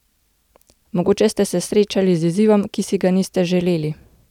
Mogoče ste se srečali z izzivom, ki si ga niste želeli.